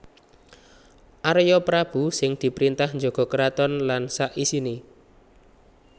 Arya Prabu sing diprintah njaga keraton lan sak isiné